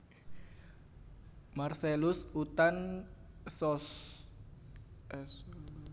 Marcellus Uthan Ssos